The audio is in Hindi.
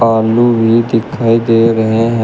आलू भी दिखाई दे रहे हैं।